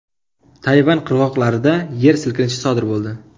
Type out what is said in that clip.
Tayvan qirg‘oqlarida yer silkinishi sodir bo‘ldi.